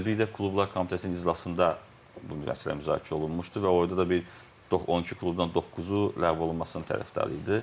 Və bir də klublar komitəsinin iclasında bu məsələ müzakirə olunmuşdu və orada da bir 12 klubdan doqquzu ləğv olunmasının tərəfdarı idi.